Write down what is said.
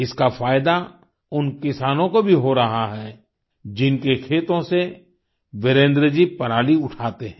इसका फ़ायदा उन किसानों को भी हो रहा है जिनके खेतों से वीरेन्द्र जी पराली उठाते हैं